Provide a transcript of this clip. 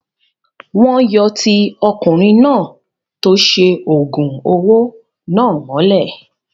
Wọn yóò ti ọkùnrin náà tó ṣe oògùn owó náà mọ́lé